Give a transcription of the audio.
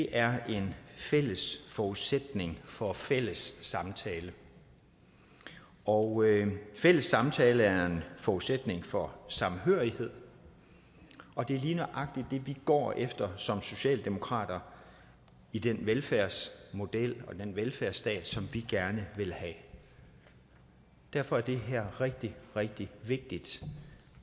er en fælles forudsætning for fælles samtale og fælles samtale er en forudsætning for samhørighed og det er lige nøjagtig det vi går efter som socialdemokrater i den velfærdsmodel og den velfærdsstat som vi gerne vil have derfor er det her rigtig rigtig vigtigt